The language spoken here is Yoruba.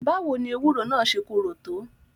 Báwo ni ewúro naa ṣé korò tó?